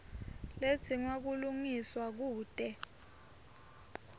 ledzinga kulungiswa kute